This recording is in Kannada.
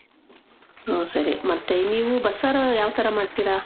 ಓ, ಸರಿ. ಮತ್ತೆ ನೀವು ಬಸ್ಸಾರ್ ಯಾವ್ ಥರ ಮಾಡ್ತೀರ?